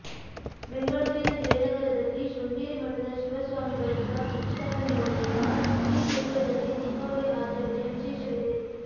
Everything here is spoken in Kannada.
ಬೆಂಗಳೂರಿನ ಜಯನಗರದಲ್ಲಿ ಶೃಂಗೇರಿ ಮಠದ ಶಿವ ಸ್ವಾಮಿ ಗಳಿಂದ ಪ್ರತಿಷ್ಠಾಪನೆಗೊಂಡಿರುವ ಈ ದೇಗುಲದಲ್ಲಿ ದೀಪಾವಳಿ ಆಚರಣೆಯ ವಿಶೇಷವಿದೆ